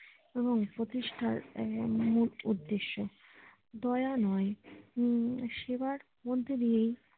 এবং প্রতিষ্ঠার উম মূল উদ্দেশ্য দোয়া নয় উম সেবার মধ্যে দিয়েই